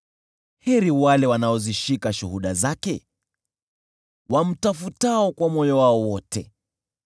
Heri wale wanaozishika shuhuda zake, wamtafutao kwa moyo wao wote.